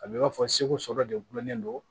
A bɛ i b'a fɔ segu sɔrɔ de gulonnen don